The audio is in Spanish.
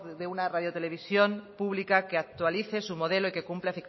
de una radiotelevisión pública que actualice su modelo y que cumpla